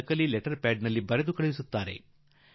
ನಕಲಿ letter pad ಮಾಡಿ ಕಾಗದ ಕಳುಹಿಸಿಬಿಡುವರು